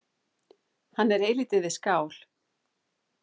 Hann er eilítið við skál.